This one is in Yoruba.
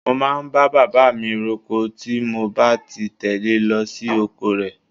Mo máa ń bá bàbá mi roko tí mo bá ti tẹle lọ sí oko rẹ̀.